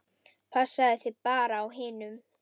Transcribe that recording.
Passaðu þig bara á hinum.